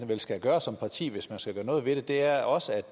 vel skal gøre som parti hvis man skal gøre noget ved det er også